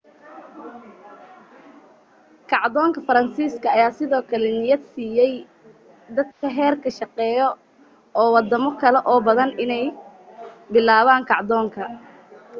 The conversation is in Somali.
kacdoonka faransiiska ayaa sidoo kale niyad siiyey dadka heerka shaqeeyo oo wadamo kale oo badan inay bilaabaan kacdoonkooda